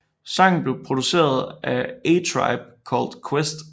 Sangen blev produceret af A Tribe Called Quest